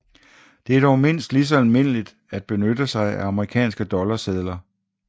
Det er dog mindst lige så almindeligt at benytte sig af amerikanske dollarsedler